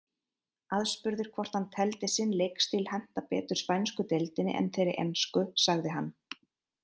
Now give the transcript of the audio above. Aðspurður hvort hann teldi sinn leikstíl henta betur spænsku deildinni en þeirri ensku sagði hann.